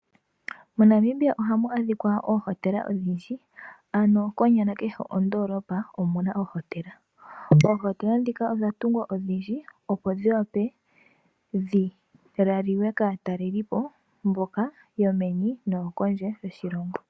MoNamibia ohamu adhikwa oohotela odhindji, ano konyala kehe kondoolopa okuna oohotela. Oohotela ndhika odha tungwa odhindji odha tungwa odhindji opo dhiwape dhilaliwe kaatalelipo yomeni nopondje yoshilongo.